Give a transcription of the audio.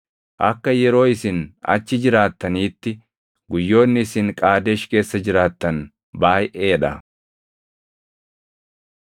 Akka yeroo isin achi jiraattaniitti, guyyoonni isin Qaadesh keessa jiraattan baayʼee dha.